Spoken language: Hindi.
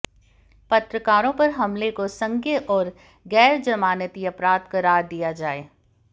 पत्रकारों पर हमले को संज्ञेय और गैरजमानती अपराध करार दिया जाए